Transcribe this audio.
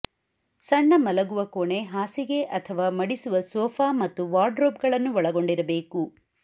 ಸಣ್ಣ ಮಲಗುವ ಕೋಣೆ ಹಾಸಿಗೆ ಅಥವಾ ಮಡಿಸುವ ಸೋಫಾ ಮತ್ತು ವಾರ್ಡ್ರೋಬ್ಗಳನ್ನು ಒಳಗೊಂಡಿರಬೇಕು